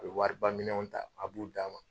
A be wariba minɛnw ta, a b'u d'a ma.